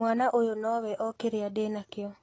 Mwana ũyũ nĩwe o kĩrĩa ndĩnakio.